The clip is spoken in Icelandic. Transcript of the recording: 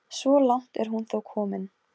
Emil gat ekki annað en hlegið að honum.